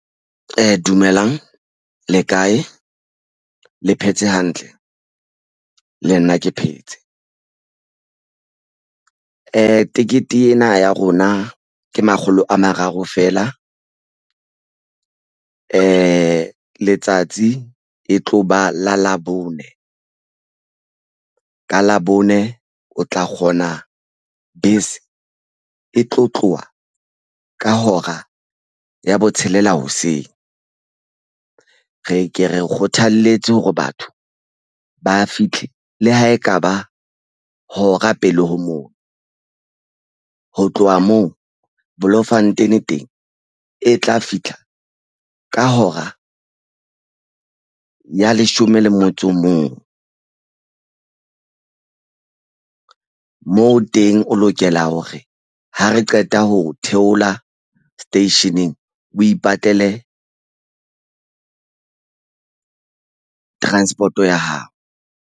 Dumelang le kae le phetse hantle? Le nna ke phetse. Tekete ena ya rona ke makgolo a mararo feela. Letsatsi e tlo ba la labone. Ka labone o tla kgona bese e tlo tloha ka hora ya botshelela hoseng. Re ke re kgothalletse hore batho ba fitlhe le ha ekaba hora pele ho moo. Ho tloha moo Bloemfontein teng e tla fihla ka hora ya leshome le motso o mong. Moo teng o lokela hore ha re qeta ho theola seteisheneng, o ipatlele transport-o ya hao.